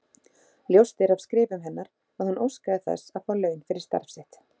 Ljóst er af skrifum hennar að hún óskaði þess að fá laun fyrir starf sitt.